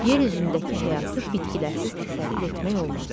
Yer üzündəki həyatı bitkilərsiz təsəvvür etmək olmaz.